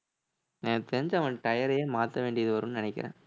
எனக்கு தெரிஞ்சு அவன் tire யே மாத்த வேண்டியது வரும்னு நினைக்கிறேன்